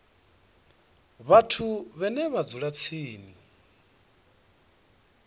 vhathu vhane vha dzula tsini